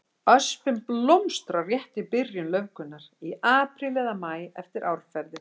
Öspin blómstrar rétt í byrjun laufgunar, í apríl eða maí eftir árferði.